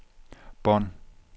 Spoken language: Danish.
bånd